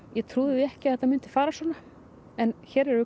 ég trúði því ekki að þetta myndi fara svona en hér erum við